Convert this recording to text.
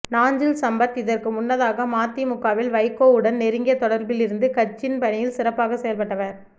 நாஞ்சில் சம்பத் இதற்கு முன்னதாக மதிமுகவில் வைகோ உடன் நெருங்கிய தொடர்பில் இருந்து கட்சின் பணியில் சிறப்பாக செயல்பட்டவர்